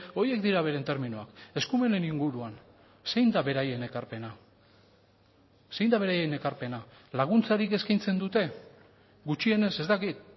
horiek dira beren terminoak eskumenen inguruan zein da beraien ekarpena zein da beraien ekarpena laguntzarik eskaintzen dute gutxienez ez dakit